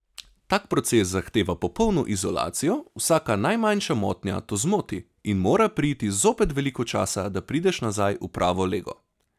Tak proces zahteva popolno izolacijo, vsaka najmanjša motnja to zmoti in mora preiti zopet veliko časa, da prideš nazaj v pravo lego.